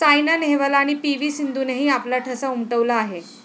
सायना नेहवाल आणि P. V. सिंधूनेही आपला ठसा उमटवला आहे.